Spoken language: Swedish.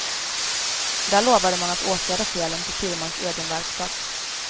Där lovade man att åtgärda felen på firmans egen verkstad.